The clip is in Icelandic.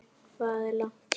Hvað er langt héðan?